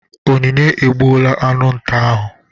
Onyinye egbuola aṅụ nta ahụ.